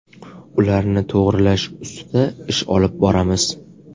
Ularni to‘g‘rilash ustida ish olib boramiz.